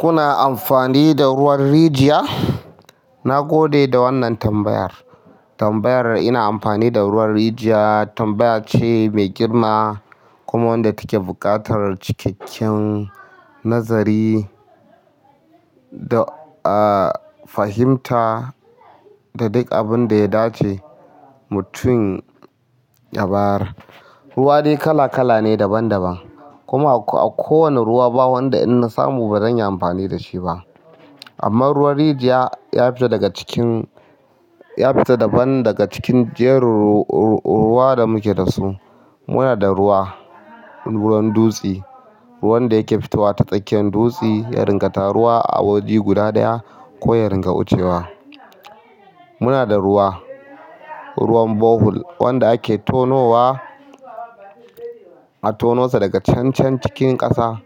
Kuna amfani da ruwan rijiya? Na gode da wannan tambayar. Tambayar "ina amfani da ruwan rijiya" tambaya ce mai girma kuma wanda take buƙatar cikakken nazari da, ah, fahimta da duk abin da ya dace mutum ya bayar. Ruwa dai kala kala ne daban daban, kuma a kowane ruwa ba wanda in na samu ba zan yi amfani da shi ba. Amma ruwan rijiya ya fito daga cikin, ya fita daban daga cikin jerin ruwa da muke da su. Muna da ruwa, ruwan dutse, ruwan da yake fitowa ta tsakiyar dutse ya ringa taruwa a waje guda ɗaya ko ya ringa wucewa. Muna da ruwa, ruwan bohol, wanda ake tonowa, a tonosa daga cancan cikin ƙasa.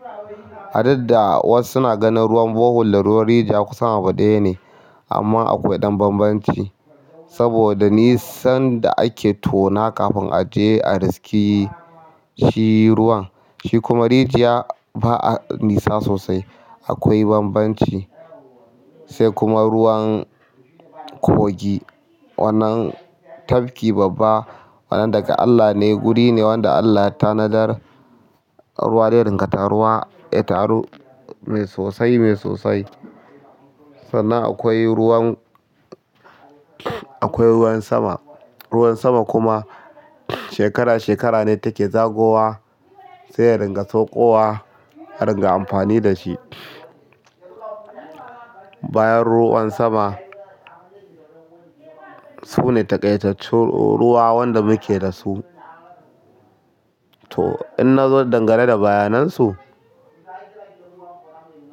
Adada wasu suna ganin ruwan bohol da ruwan rijiya kusan abu ɗaya ne amma akwai ɗan banbanci. Saboda nisan da ake tona kafin a je a riske shi ruwan, shi kuma rijiya ba a nisa sosai. Akwai banbanci. Sai kuma ruwan kogi. Wannan tafki babba, wannan daga Allah ne, wuri ne wanda Allah ya tanadar ruwa zai ringa taruwa, ya taru mai sosai, mai sosai. Sannan akwai ruwan, akwai ruwan sama. Ruwan sama kuma shekara shekara ne take zagowa saiya ringa saukowa a ringa amfani da shi. Bayan ruwan sama, sune takaitattun ruwa wanda muke da su. To inna zo dangane da bayanan su.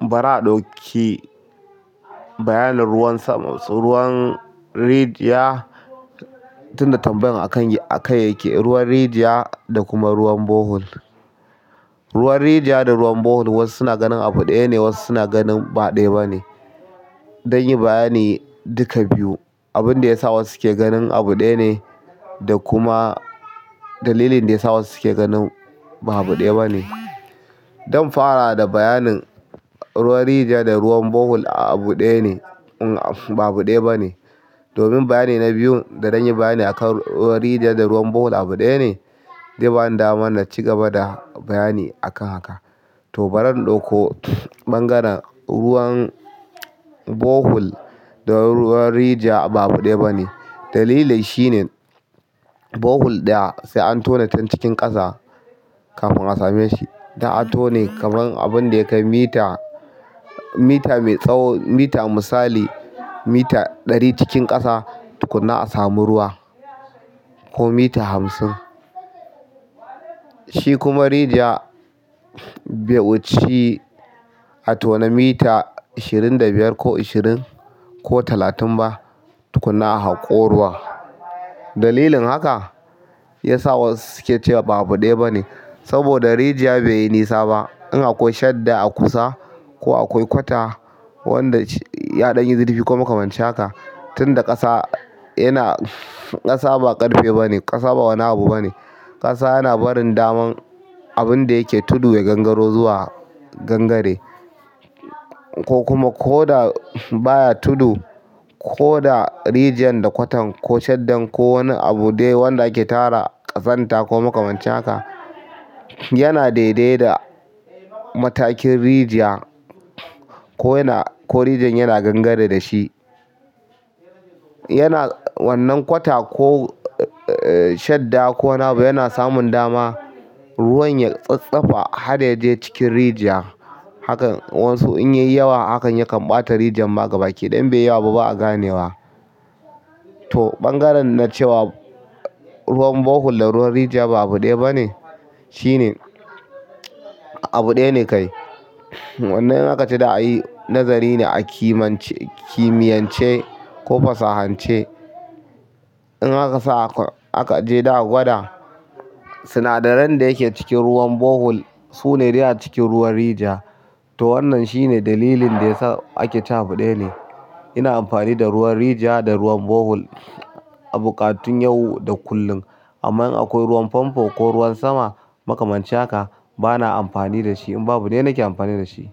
Bana ɗauki bayanin ruwan sama. Ruwan rijiya, tunda tambayar a kan, a kan yake, ruwan rijiya da kuma ruwan bohol. Ruwan rijiya da ruwan bohol wasu suna ganin abu ɗaya ne wasu suna ganin ba ɗaya ba ne. Dan yi bayani duka biyu, abin da ya sa wasu ke ganin abu ɗaya ne da kuma dalilin da ya sa wasu suke ganin ba abu ɗaya ba ne. Zan fara da bayanin ruwan rijiya da ruwan bohol abu ɗaya ne uhm ba abu ɗaya ba ne. Domin bayani na biyun, da zan yi bayani a kan ruwan rijiya da ruwan bohol abu ɗaya ne, zai bani damar na ci gaba da bayani akan haka. To, ba ra in ɗauko ɓangaren ruwan bohol da ruwan rijiya ba abu ɗaya ba ne. Dalilin shi ne bohol ɗaya, sai an tone can cikin ƙasa kafin a same shi. Za a tone kamar abunda yakai mita mita mai tsawo mita misali mita ɗari cikin ƙasa tukunna a samu ruwa. Ko mita hamsin. Shi kuma rijiya, bai wuci a tona mita ashirin da biyar ko ashirin ko talatin ba tukuna a haƙo ruwa. Dalilin haka ya sa wasu suke cewa ba abu ɗaya ba ne. Saboda rijiya bai yi nisa ba. In akwai shadda a kusa ko akwai kwata wanda ya ɗan yi zurfi ko makamanci haka, tunda ƙasa yana, ƙasa ba ƙarfe ba ne, ƙasa ba wani abu ba ne, ƙasa yana barin daman abin da yake tudu ya gangaro zuwa gangare. Ko kuma ko da baya tudu, ko da rijiyar da kwatar ko shaddan ko wani abu dai wanda ake tara ƙazanta ko makamanci haka, yana daidai da matakin rijiya ko yana, ko rijiyar yana gangare da shi. Yana wannan kwata ko, eh, shadda ko wani abu yana samun dama ruwan ya tsatstsafa har ya je cikin rijiya. Hakan wasu in ya yi yawa hakan ya kan ɓata rijiyar ma gaba ƙi. Idan bai yi yawa ba, ba a ganewa. To, ɓangaren na cewa ruwan bohol da ruwan rijiya ba abu ɗaya ba ne shine abu ɗaya ne kai. Wannan in aka ce za'a yi nazari ne a kimiyance ko fasahance. In akasa ah akaje za'a gwada sinadaran da yake cikin ruwan bohol sune dai acikin ruwan rijiya. To wannan shine dalilin da ya sa ake cewa abu ɗaya ne. Ina amfani da ruwan rijiya da ruwan bohol a buƙatun yau da kullum. Amma in akwai ruwan famfo ko ruwan sama, makamanci haka, ba na amfani da shi. In babu dai na ke amfani da shi.